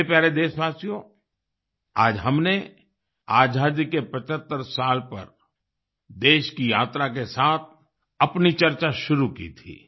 मेरे प्यारे देशवासियो आज हमने आजादी के 75 साल पर देश की यात्रा के साथ अपनी चर्चा शुरू की थी